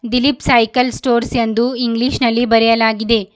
Dilip cycle stores ಎಂದು English ನಲ್ಲಿ ಬರೆಯಲಾಗಿದೆ.